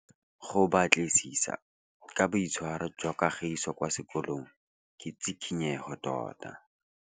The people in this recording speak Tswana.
Go batlisisa ka boitshwaro jwa Kagiso kwa sekolong ke tshikinyêgô tota.